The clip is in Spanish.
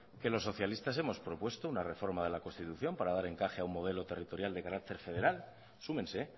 que los socialistas hemos propuesto una reforma del constitución para dar encaje a un modelo territorial de carácter federal súmense